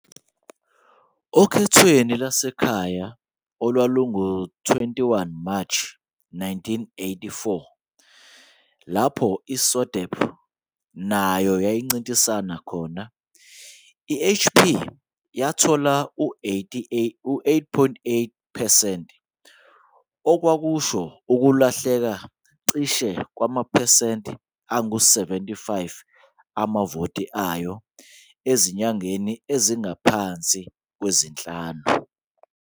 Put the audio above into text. Okhethweni lwasekhaya olwalungo-21 Mashi 1984, lapho i- SODEP nayo yayincintisana khona, i-HP yathola u-8.8 percent, okwakusho ukulahleka cishe kwamaphesenti angu-75 amavoti ayo ezinyangeni ezingaphansi kwezinhlanu.